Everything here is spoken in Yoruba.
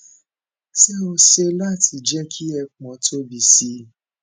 ṣé ó ṣeé ṣe láti jẹ ki ẹpọn tóbi sí i